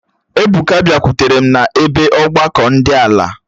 Ebuka biakwutere m n'ebe ọgbakọ di ala